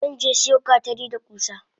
Zanje siyo gatari da kusa.